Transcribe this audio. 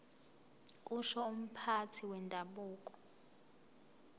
kusho umphathi wendabuko